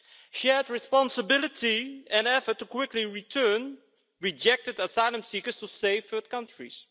shared responsibility and effort to quickly return rejected asylum seekers to safe third countries.